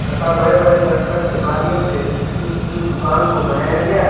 तथा बड़े बड़े करकट के माध्यम से इस दुकान को बनाया गया है।